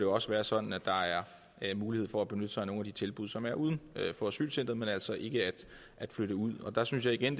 også være sådan at der er mulighed for at benytte sig af nogle af de tilbud som er uden for asylcentret men altså ikke at flytte ud der synes jeg igen